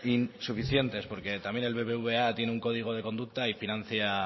insuficientes porque también el bbva tiene un código de conducta y financia